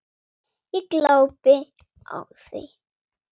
Ég glápi á þau.